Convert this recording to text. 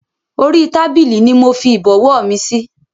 Orí tábìlì ni mofi Ìbọ̀wọ́ mi síí